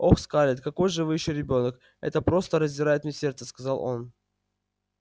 ох скарлетт какой же вы ещё ребёнок это просто раздирает мне сердце сказал он